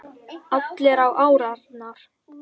Allir á árarnar